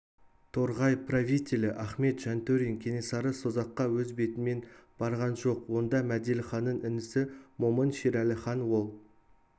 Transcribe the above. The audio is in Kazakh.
торғай правителі ахмет жантөрин кенесары созаққа өз бетімен барған жоқ онда мәделіханның інісі момын шерәліхан ол